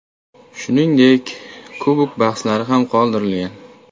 Shuningdek, Kubok bahslari ham qoldirilgan.